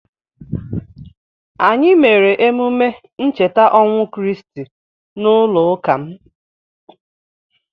Anyị mere emume ncheta ọnwụ Kriisti n'ụlọụka m.